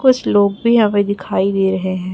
कुछ लोग भी हमें दिखाई दे रहे हैं।